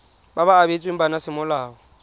ba ba abetsweng bana semolao